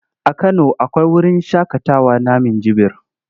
A Kano akwai wurin shaƙatawa na Minjibir.